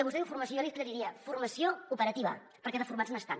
vostè diu formació jo li aclariria formació operativa perquè de formats n’estan